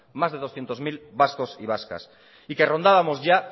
más de doscientos mil vascos y vascas y que rondábamos ya